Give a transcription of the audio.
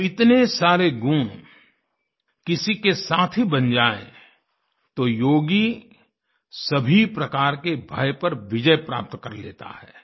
जब इतने सारे गुण किसी के साथी बन जाएँ तो योगी सभी प्रकार के भय पर विजय प्राप्त कर लेता है